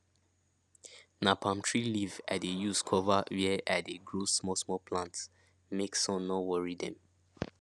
na palm tree leaf i dey use cover where i dey grow small small plants make sun no worry them